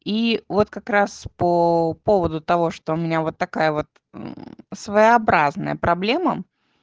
ии вот как раз по поводу того что у меня вот такая вот своеобразная проблема